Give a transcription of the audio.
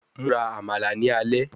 Mura Amala ni alẹ yii